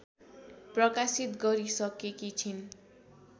प्रकाशित गरिसकेकि छिन्